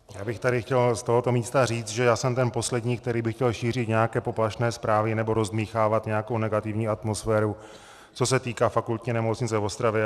Já bych tady chtěl z tohoto místa říct, že já jsem ten poslední, který by chtěl šířit nějaké poplašné zprávy nebo rozdmýchávat nějakou negativní atmosféru, co se týká Fakultní nemocnice v Ostravě.